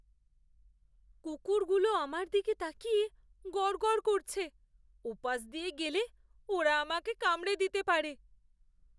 কুকুরগুলো আমার দিকে তাকিয়ে গরগর করছে। ওপাশ দিয়ে গেলে ওরা আমাকে কামড়ে দিতে পারে।